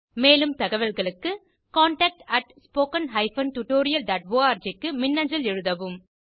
மேலும் தகவல்களுக்கு contactspoken tutorialorg க்கு மின்னஞ்சல் எழுதவும்